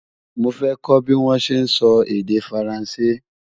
mọ fẹ kò bí wón sé sọ èdè faransé